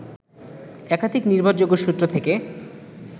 একাধিক নির্ভরযোগ্য সূত্র থেকে